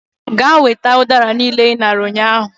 Gaa weta udara niile i nara ụnyahụ